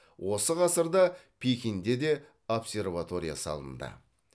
осы ғасырда пекинде де обсерватория салынды